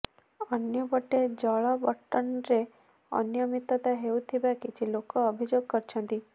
ଅନ୍ୟପଟେ ଜଳ ବଂଟନରେ ଅନିୟମିତତା ହେଉଥିବା କିଛି ଲୋକ ଅଭିଯୋଗ କରିଛନ୍ତି